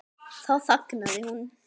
Þá þagnaði hún.